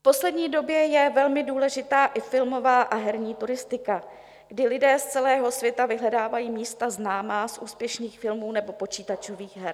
V poslední době je velmi důležitá i filmová a herní turistika, kdy lidé z celého světa vyhledávají místa známá z úspěšných filmů nebo počítačových her.